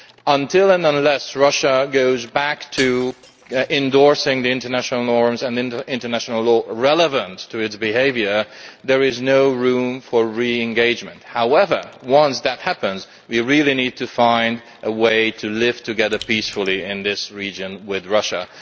Until and unless Russia goes back to endorsing the international norms and international law relevant to its behaviour, there is no room for re engagement. However, once that happens, we need to find a way to live together peacefully in this region with Russia.